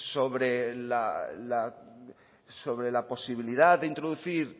sobre la posibilidad de introducir